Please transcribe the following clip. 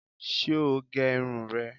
Ṣé o gé irun rẹ̀